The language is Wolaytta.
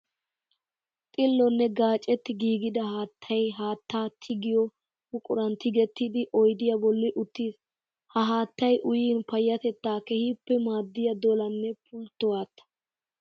Xillonne gaccetti giigidda haattay haatta tiggiyo buquran tiggettiddi oyddiya bolli uttiis. Ha haattay uyin payatetta keehippe maadiya dollanne pultto haatta.